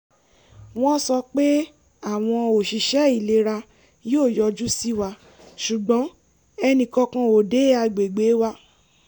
wọ́n sọ pé àwọn oṣiṣẹ́ ìlera yóò yọjú sí wa ṣùgbọ́n ẹnìkankan ò dé agbègbè wa